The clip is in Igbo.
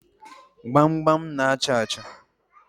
Gbamgbam na-achà achà.